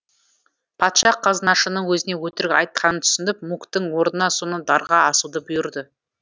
патша қазынашының өзіне өтірік айтқанын түсініп муктің орнына соны дарға асуды бұйырды